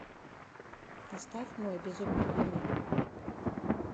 поставь мой безумный дневник